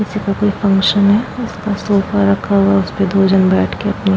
इस जगह पे कोई फ़ंक्शन है। इस पे सोफा रखा हुआ है। उस पे दो जन बैठ के अपनी--